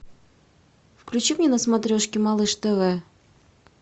включи мне на смотрешке малыш тв